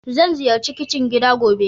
Zan ziyarci kicin gida gobe.